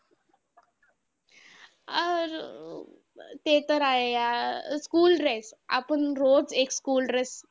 अह ते तर आहे यार, school dress आपण रोज एक school dress